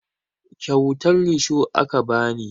Kyautar risho aka ba ni